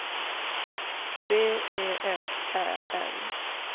B E F Ä L